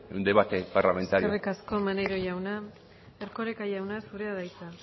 en debate parlamentario eskerrik asko maneiro jauna erkoreka jauna zurea da hitza